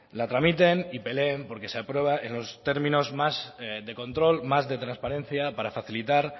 la tramiten y peleen porque se apruebe en los términos más de control más de transparencia para facilitar